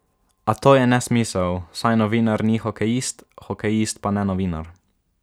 A to je nesmisel, saj novinar ni hokejist, hokejist pa ne novinar.